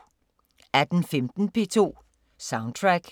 18:15: P2 Soundtrack 02:30: Ugens playliste